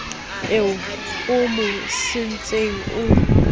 eo o mo sentseng o